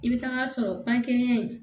I bɛ taa sɔrɔ pankelen in